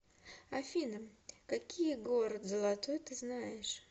афина какие город золотой ты знаешь